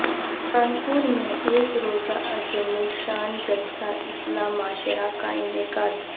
پران پور میں ایک روزہ عظیم الشان جلسہ اصلاح معاشرہ کا انعقاد